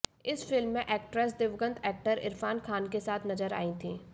इस फिल्म में एक्ट्रेस दिवंगत एक्टर इरफान खान के साथ नजर आईं थीं